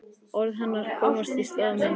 Orð hennar koma í stað minna.